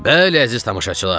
Bəli, əziz tamaşaçılar!